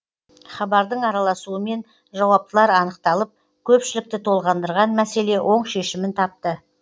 хабардың араласуымен жауаптылар анықталып көпшілікті толғандырған мәселе оң шешімін тапты